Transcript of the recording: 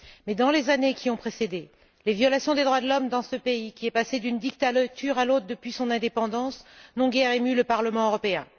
Mais, dans les années qui ont précédé, les violations des droits de l'homme dans ce pays, qui est passé d'une dictature à l'autre depuis son indépendance, n'ont guère ému le Parlement européen.